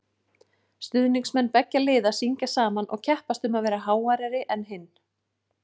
Stuðningsmenn beggja liða syngja saman og keppast um að vera háværari en hinn.